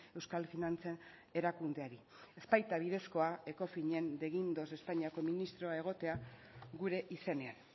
euskal finantzen erakundeari ez bait da bidezkoa ecofinen de guindos espainiako ministro egotea gure izenean